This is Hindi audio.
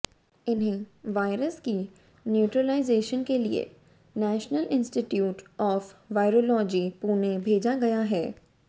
इन्हें वायरस की न्यूट्रलाइजेशन के लिए national institute of virology Pune भेजा गया है